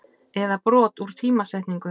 eða brot úr tímasetningu.